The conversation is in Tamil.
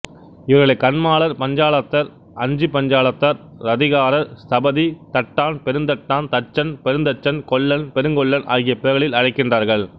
இவர்களைக் கன்மாளர் பஞ்சாலத்தார் அஞ்சுபஞ்சாலத்தார் ரதிகாரர் ஸ்தபதி தட்டான் பெருந்தட்டான் தட்சன் பெருஞ்தச்சன் கொல்லன் பெருங்கொல்லன் ஆகிய பெயர்களில் அழைக்கின்றார்கள்